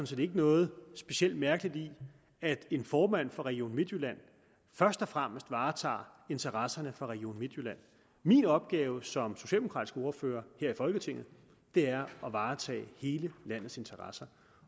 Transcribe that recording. set ikke noget specielt mærkeligt i at en formand for region midtjylland først og fremmest varetager interesserne for region midtjylland min opgave som socialdemokratisk ordfører her i folketinget er at varetage hele landets interesser